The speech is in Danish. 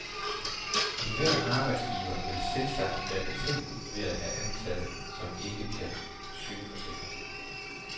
Enhver arbejdsgiver vil selvsagt være betænkelig ved at have ansatte, som ikke kan sygeforsikres.